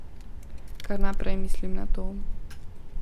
Kar naprej mislim na to.